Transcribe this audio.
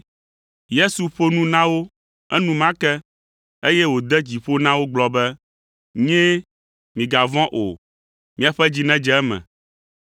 Yesu ƒo nu na wo enumake, eye wòde dzi ƒo na wo gblɔ be, “Nyee, migavɔ̃ o; miaƒe dzi nedze eme.”